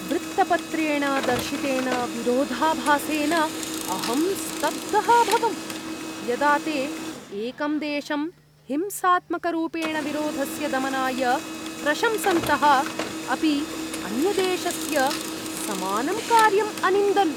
वृत्तपत्रेण दर्शितेन विरोधाभासेन अहं स्तब्धः अभवम्, यदा ते एकं देशं हिंसात्मकरूपेण विरोधस्य दमनाय प्रशंसन्तः अपि अन्यदेशस्य समानं कार्यम् अनिन्दन्।